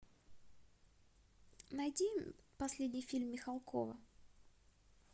найди последний фильм михалкова